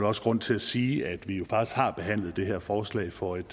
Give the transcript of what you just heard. også grund til at sige at vi jo faktisk har behandlet det her forslag for et